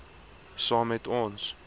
saam met ons